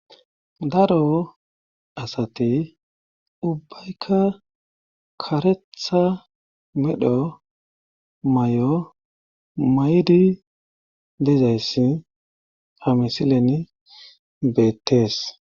daro asati ubbaykka karetha medho mayo mayidi dezayssi hamisilen beettees.